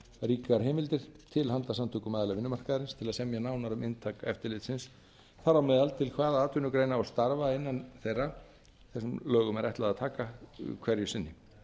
ríkar heimildir til handa samtökum aðila vinnumarkaðarins til að semja nánar um inntak eftirlitsins þar á meðal til hvaða atvinnugreina og starfa innan þeirra lög um er ætlað að taka til hverju sinni